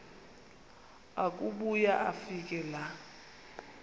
akubuya afike laa